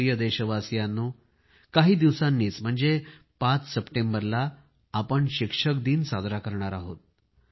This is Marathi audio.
माझ्या प्रिय देशवासियांनो काही दिवसांनीच म्हणजे पाच सप्टेंबरला आपण शिक्षक दिन साजरा करणार आहे